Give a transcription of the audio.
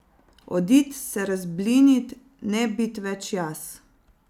Odit, se razblinit, ne bit več jaz.